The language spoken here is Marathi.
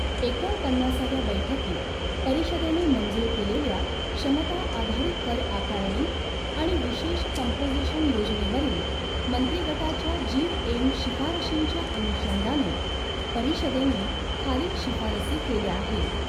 एकोणपन्नासाव्या बैठकीत परिषदेने मंजूर केलेल्या क्षमता आधारित कर आकारणी आणि विशेष कंपोजिशन योजनेवरील मंत्री गटाच्या जीवएम शिफारशींच्या अनुषंगाने, परिषदेने खालील शिफारसी केल्या आहेत